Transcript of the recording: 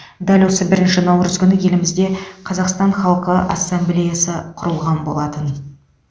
дәл осы бірінші наурыз күні елімізде қазақстан халқы ассамблеясы құрылған болатын